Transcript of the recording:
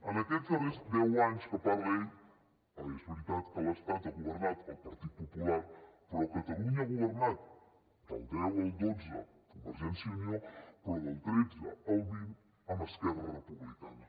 en aquests darrers deu anys que parla ell és veritat que a l’estat ha governat el partit popular però a catalunya ha governat del deu al dotze convergència i unió però del tretze al vint amb esquerra republicana